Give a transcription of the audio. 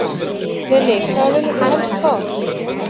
Lillý: Hvað viljið þið helst fá?